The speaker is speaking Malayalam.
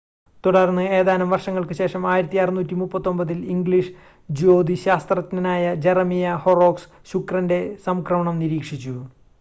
തുടർന്ന് ഏതാനും വർഷങ്ങൾക്കുശേഷം 1639-ൽ ഇംഗ്ലീഷ് ജ്യോതിശാസ്ത്രജ്ഞനായ ജെറമിയ ഹൊറോക്സ് ശുക്രൻ്റെ സംക്രമണം നിരീക്ഷിച്ചു